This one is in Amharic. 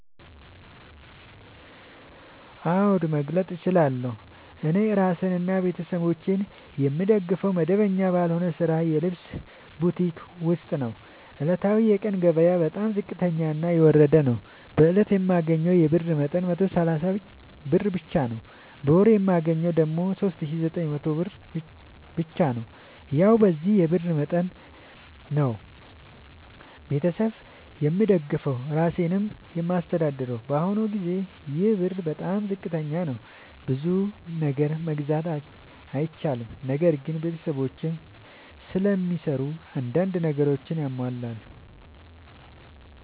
አዎድ መግለጥ እችላለሁ። እኔ እራሴንና ቤተሠቦቼን የምደግፈዉ መደበኛ ባልሆነ ስራ የልብስ ቡቲክ ዉስጥ ነዉ። ዕለታዊ የቀን ገቢየ በጣም ዝቅተኛና የወረደ ነዉ። በእለት የማገኘዉ የብር መጠን 130 ብር ብቻ ነዉ። በወር የማገኘዉ ደግሞ 3900 ብር ብቻ ነዉ። ያዉ በዚህ የብር መጠን መጠን ነዉ። ቤተሠብ የምደግፈዉ እራሴንም የማስተዳድረዉ በአሁኑ ጊዜ ይሄ ብር በጣም ዝቅተኛ ነዉ። ብዙ ነገር መግዛት አይችልም። ነገር ግን ቤተሰቦቼም ስለሚሰሩ አንዳንድ ነገሮችን ያሟላሉ።